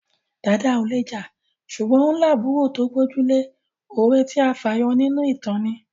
Dàda ò le jà ṣùgbọ́n ó lábùúrò tó gbójú lé. Òwe tí a fà yọ nínú ìtàn ni